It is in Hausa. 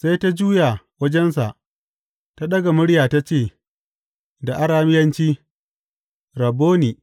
Sai ta juya wajensa ta ɗaga murya ta ce da Arameyanci, Rabboni!